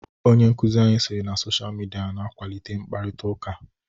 Onye nkụzi anyi sịrị na Sochaa midia n'akwalite mkparịta ụka.